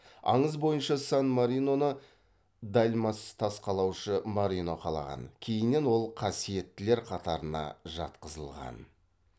аңыз бойынша сан мариноны дальмац тас қалаушы марино қалаған кейіннен ол қасиеттілер қатарына жатқызылған